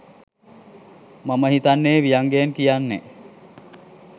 මම හිතන්නේ ව්‍යංගයෙන් කියන්නේ